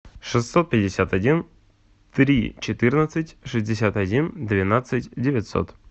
шестьсот пятьдесят один три четырнадцать шестьдесят один двенадцать девятьсот